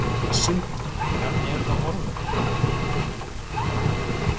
Sindri: Hvernig eru þá horfurnar?